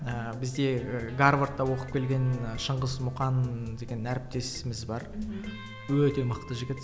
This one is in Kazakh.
ыыы бізде гарвардта оқып келген шыңғыс мұқан деген әріптесіміз бар мхм өте мықты жігіт